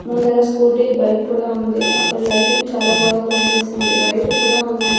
ముందర scooty bike కూడా ఉంది అక్కడ లైటింగ్ చాలా బాగా కన్పిస్తుంది వైర్లు కూడా ఉన్నాయ్.